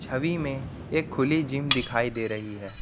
छवि में एक खुली जिम दिखाई दे रही है।